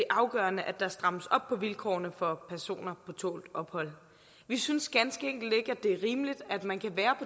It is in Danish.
afgørende at der strammes op på vilkårene for personer på tålt ophold vi synes ganske enkelt ikke at det er rimeligt at man kan være